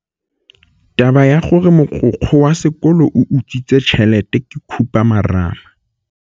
Taba ya gore mogokgo wa sekolo o utswitse tšhelete ke khupamarama.